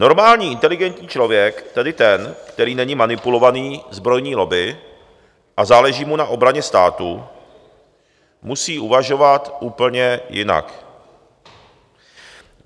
Normální inteligentní člověk, tedy ten, který není manipulovaný zbrojní lobby a záleží mu na obraně státu, musí uvažovat úplně jinak.